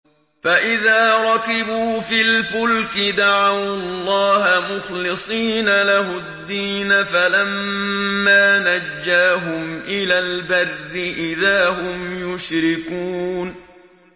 فَإِذَا رَكِبُوا فِي الْفُلْكِ دَعَوُا اللَّهَ مُخْلِصِينَ لَهُ الدِّينَ فَلَمَّا نَجَّاهُمْ إِلَى الْبَرِّ إِذَا هُمْ يُشْرِكُونَ